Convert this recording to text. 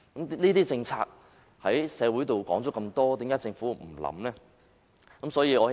這些政策在社會上討論多時，政府卻不予以考慮。